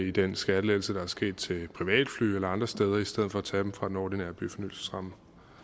i den skattelettelse der er sket til privatfly eller andre steder i stedet for tage dem fra den ordinære byfornyelsesramme